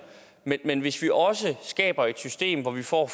men hvis vi også skaber et system hvor vi for